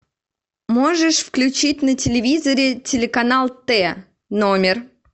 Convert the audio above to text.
можешь включить на телевизоре телеканал т номер